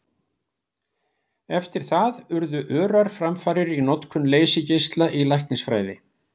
Eftir það urðu örar framfarir í notkun leysigeisla í læknisfræði.